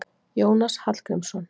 Jónas Hallgrímsson.